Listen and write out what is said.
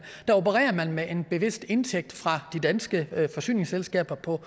opererer med en vis indtægt fra de danske forsyningsselskaber på